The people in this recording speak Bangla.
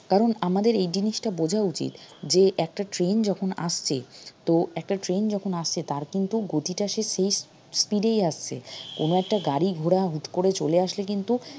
কারন আমাদের এই জিনিসটা বোঝা উচিত যে একটা train যখন আসছে তো একটা train যখন আসছে তার কিন্তু গতিটা speed এই আসছে কোনো একটা গাড়ি ঘোড়া হুট করে চলে আসলে কিন্তু